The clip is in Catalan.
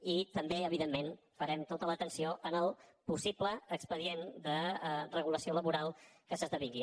i també evidentment farem tota l’atenció al possible expedient de regulació laboral que s’esdevingui